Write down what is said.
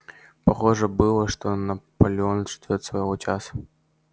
похоже было что наполеон ждёет своего часа